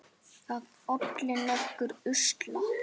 Það olli nokkrum usla.